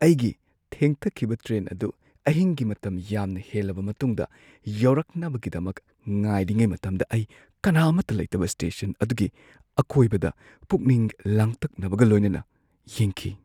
ꯑꯩꯒꯤ ꯊꯦꯡꯊꯈꯤꯕ ꯇ꯭ꯔꯦꯟ ꯑꯗꯨ ꯑꯍꯤꯡꯒꯤ ꯃꯇꯝ ꯌꯥꯝꯅ ꯍꯦꯜꯂꯕ ꯃꯇꯨꯡꯗ ꯌꯧꯔꯛꯅꯕꯒꯤꯗꯃꯛ ꯉꯥꯏꯔꯤꯉꯩ ꯃꯇꯝꯗ ꯑꯩ ꯀꯅꯥ ꯑꯃꯠꯇ ꯂꯩꯇꯕ ꯁ꯭ꯇꯦꯁꯟ ꯑꯗꯨꯒꯤ ꯑꯀꯣꯏꯕꯗ ꯄꯨꯛꯅꯤꯡ ꯂꯥꯡꯇꯛꯅꯕꯒ ꯂꯣꯏꯅꯅ ꯌꯦꯡꯈꯤ꯫